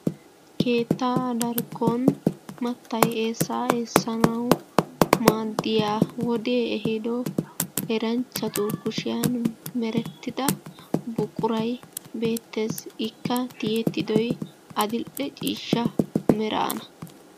Keettaa darkkon mattay eessaa eessanaw maaddiya wode ehido eranchchatu kushiyan merettida buquray beettees. Ikka tiyettidoy adil''e ciishsha meraana.